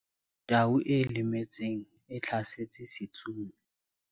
Tau e lemetseng e hlasetse setsomi.